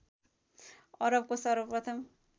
अरबको सर्वप्रथम